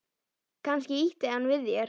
Kannski ýtti hann við þér?